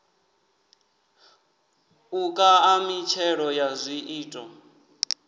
u kaṋa mitshelo ya zwiito